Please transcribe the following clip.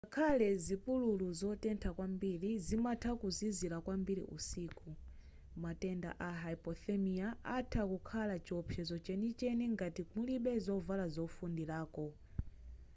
ngakhale zipululu zotentha kwambiri zimatha kuzizira kwambiri usiku matenda a hypothermia atha kukhala chiopsezo chenicheni ngati mulibe zovala zofundirako